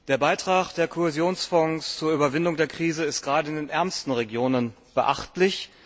Der Beitrag der Kohäsionsfonds zur Überwindung der Krise ist gerade in den ärmsten Regionen beachtlich.